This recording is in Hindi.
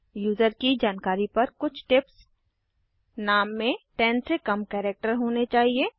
यूज़र की जानकारी पर कुछ टिप्स नाम में 10 से कम कैरेक्टर होने चाहिए